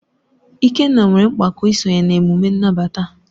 Ikenna nwere mpako isonye na emume nnabata.